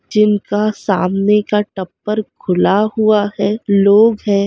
जिनका सामने का टप्पर खुला हुआ हैं लोग हैं--